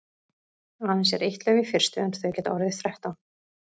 Aðeins er eitt lauf í fyrstu en þau geta orðið þrettán.